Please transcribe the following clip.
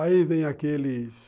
Aí vem aqueles